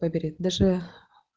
даже